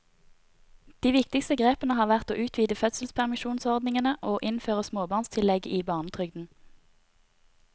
De viktigste grepene har vært å utvide fødselspermisjonsordningene og innføre småbarnstillegget i barnetrygden.